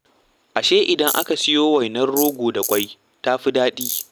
Ashe idan aka soya wainar rogo da ƙwai ta fi daɗi?